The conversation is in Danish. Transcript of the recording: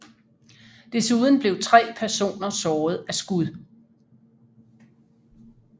Desuden blev tre personer såret af skud